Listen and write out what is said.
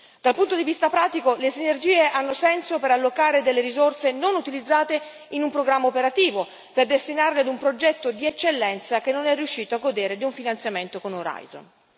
Dal punto di vista pratico le sinergie hanno senso per allocare delle risorse non utilizzate in un programma operativo, per destinarli a un progetto di eccellenza che non è riuscito a godere di un finanziamento con Orizzonte.